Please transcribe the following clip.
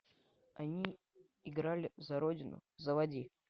они играли за родину заводи